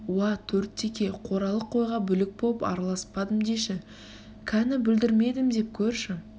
уа төрт теке қоралы қойға бүлік боп араласпадым деші кәні бұлдірмедім деп көрші